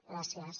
gràcies